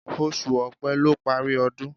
Oṣù Opẹ́ ló parí ọdún